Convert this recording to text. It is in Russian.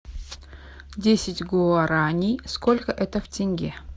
десять гуараней сколько это в тенге